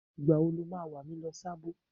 Ìgbà wo lo ma wà mí lọ Sábó?